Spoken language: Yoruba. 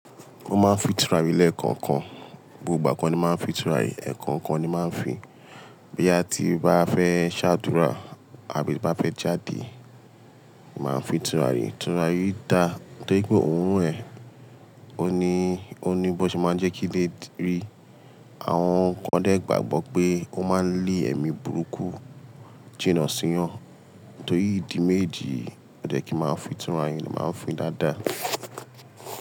Ó máa ń fi tùràrí lẹ́ẹ̀kankan, gbogbo ìgbà ko ni mo n máa ń fi tùràrí, ẹ̀ẹ̀kan kan ni mo máa ń fi. Bí a ti bá fẹ́ ṣàdúrà àbí bá fẹ́ jáde, màá ń fi tùràrí. Tùràrí dà, torí pé òun rẹ̀, òun ni, òun ni bó ṣe máa ń jẹ́ kí lé rí. Àwọn kan dé gbàgbọ́ pé ó máa ń lé ẹ̀mí burúkú jìnà sí wọn. Torí ìdí méjejì yi, ó jẹ ki máa ń fi tùràrí, máa ń fi dáadáa.